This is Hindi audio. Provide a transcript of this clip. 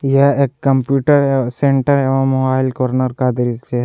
यह एक कंप्यूटर सेंटर एवं मोबाइल कॉर्नर का दृश्य है।